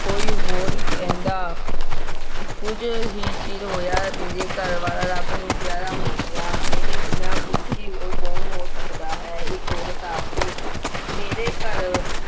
ਕੋਈ ਹੋਰ ਕਹਿੰਦਾ ਕੁੱਝ ਹੀ ਚਿਰ ਹੋਇਆ ਮੇਰੇ ਘਰ ਵਾਲਾ ਰੱਬ ਨੂੰ ਪਿਆਰਾ ਹੋ ਗਿਆ, ਮੇਰੇ ਜਿੰਨਾ ਦੁਖੀ ਹੋਰ ਕੌਣ ਹੋ ਸਕਦਾ ਹੈ, ਇੱਕ ਔਰਤ ਆਖਦੀ ਮੇਰੇ ਘਰ